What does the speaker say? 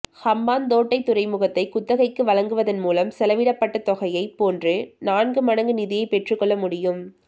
ஹம்பாந்தோட்டை துறைமுகத்தை குத்தகைக்கு வழங்குவதன் மூலம் செலவிடப்பட்ட தொகையைப் போன்று நான்கு மடங்கு நிதியை பெற்றுக்கொள்ள முடியும்